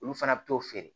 Olu fana bɛ t'o feere